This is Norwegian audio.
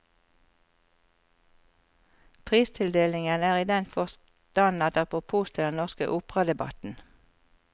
Pristildelingen er i den forstand et apropos til den norske operadebatten.